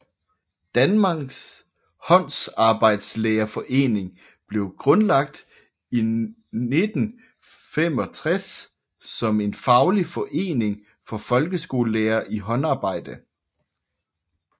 Danmarks Håndarbejdslærerforening blev grundlagt i 1965 som en faglig forening for folkeskolelærere i håndarbejde